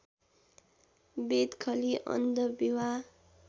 बेदखली अन्त विवाह